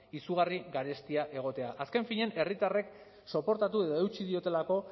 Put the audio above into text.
izugarri garestia egotea azken finean herritarrek soportatu edo eutsi diotelako